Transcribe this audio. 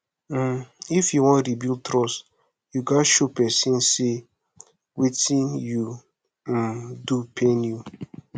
um if yu wan rebuild trust yu gats show di pesin say wetin you um do pain you